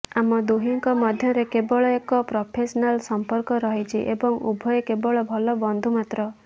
ଆମ ଦୁହିଁଙ୍କ ମଧ୍ୟରେ କେବଳ ଏକ ପ୍ରଫେସନାଲ ସମ୍ପର୍କ ରହିଛି ଏବଂ ଉଭୟେ କେବଳ ଭଲ ବନ୍ଧୁ ମାତ୍ର